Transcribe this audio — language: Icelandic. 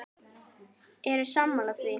Eru sammála því?